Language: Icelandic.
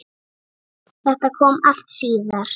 Þetta kom allt síðar.